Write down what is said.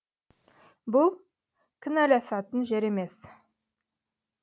бұл кінәласатын жер емес